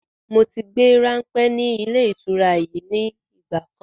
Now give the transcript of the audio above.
Moti gbé ranpẹ́ ni ilé ìtura yìí ni ìgbàkan.